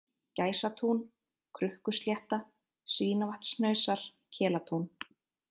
Gæsatún, Krukkuslétta, Svínavatnshnausar, Kelatún